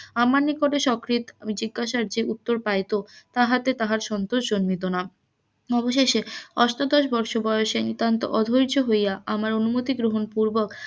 আমার নিকটে স্ব কৃত জিজ্ঞাসার যে উত্তর পাইত, তাহাতেতার সন্তোষ জন্মিত না অবশেষে অষ্টাদশ বৎস বয়সে নিতান্তই অধৈর্য হইয়া আমার অনুমতি গ্রহন পুর্বক,